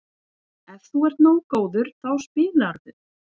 Ef þú ert nógu góður þá spilarðu.